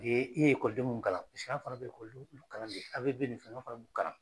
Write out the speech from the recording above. E e ye ekɔliden munnu kalan sira fana be o ekɔliden sugu kalan de a bɛɛ be musoma fɛnɛ b'u kalan